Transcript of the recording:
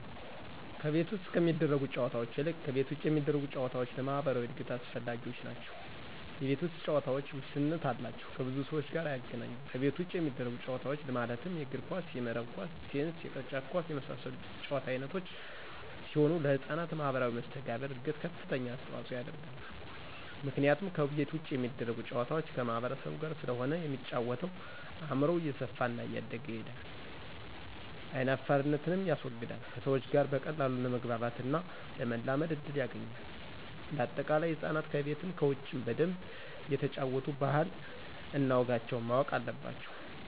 ከቤት ውስጥ ከሚደረጉ ጨዎታዎች ይልቅ ከቤት ውጭ የሚደረጉ ጨዎታዎች ለማህበራዊ እድገት አስፈላጊዎች ናቸው የቤት ውስጥ ጨዎታዎች ውስንነት አላቸው ከብዙ ሰዎች ጋር አያገናኙም ከቤት ውጭ የሚደረጉት ጨዎታዎች ማለትም የእግር ኳስ :የመረብ ኳስ :ቴንስ የቅርጫት ኳስ የመሳሰሉት የጨዎታ አይነቶች ሲሆኑ ለህጻናት ማህበራዊ መሰተጋብር እድገት ከፍተኛ አስተዋጽኦ ያደርጋሉ ምክንያቱም ከቤት ውጭ የሚደረጉ ጨዋታዎች ከማህበረሰቡ ጋር ስለሆነ የሚጫወተው አእምሮው እየሰፋና እያደገ ይሄዳል አይናፋርነትንም ያስወግዳል ከሰዎች ጋር በቀላሉ ለመግባባትና ለመላመድ እድል ያገኛል። እንደ አጠቃላይ ህፃናት ከቤትም ከውጭም በደንብ እየተጫወቱ ባህል እነ ወጋቸውን ማወቅ አለባቸው